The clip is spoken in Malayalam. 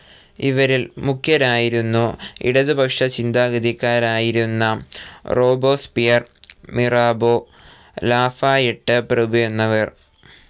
ഇവരിൽ മുഖ്യരായിരുന്നു ഇടത്പക്ഷ ചിന്താഗതിക്കാരായിരുന്ന റോബോസ്പിയർ, മിറാബോ, ലാഫായെട്ട് പ്രഭുയെന്നിവർ.